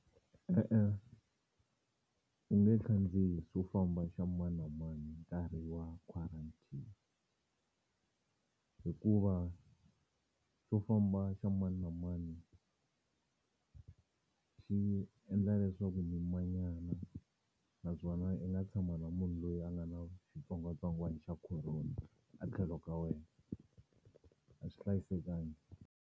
E-e u nge khandziyi xo famba xa mani na mani hi nkarhi wa quarantine hikuva xo famba xa mani na mani xi endla leswaku mi manyana naswona i nga tshama na munhu loyi a nga na xitsongwatsongwana xa corona a tlhelo ka wena a xi hlayisekangi.